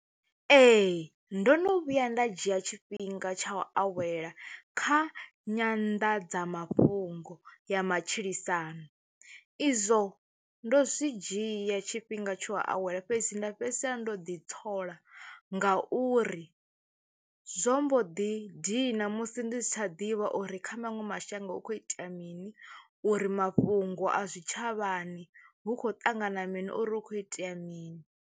Ee ndo no vhuya nda dzhia tshifhinga tsha u awela kha Nyanḓadza mafhungo ya matshilisano, izwo ndo zwi dzhia tshifhinga tsha u awela fhedzi nda fhedzisela ndo u ḓi ntsola ngauri, zwo mbo ḓi dina musi ndi si tsha ḓivha uri kha maṅwe mashango hu kho itea mini uri mafhungo a zwitshavhani hu khou ṱangana mini uri hu kho itea mini.